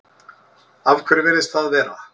Af hverju virðist það vera?